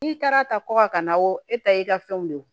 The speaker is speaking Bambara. N'i taara ta kɔkan na wo e ta y'i ka fɛnw de ye wo